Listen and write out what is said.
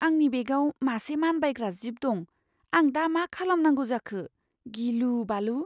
आंनि बेगआव मासे मानबायग्रा जीब दं। आं दा मा खालामनांगौ जाखो, गिलुबालु!